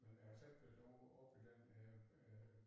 Men jeg har slet ikke været ovre op i den dér øh